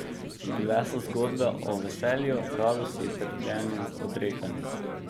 Bile so zgodbe o veselju, radosti, trpljenju, odrekanju.